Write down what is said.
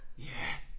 Ja